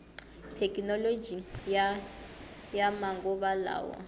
thekinoloji ya ya manguva lawa